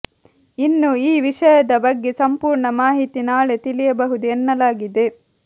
ಇನ್ನು ಈ ವಿಷಯದ ಬಗ್ಗೆ ಸಂಪೂರ್ಣ ಮಾಹಿತಿ ನಾಳೆ ತಿಳಿಯಬಹುದು ಎನ್ನಲಾಗಿದೆ